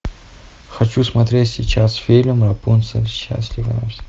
ы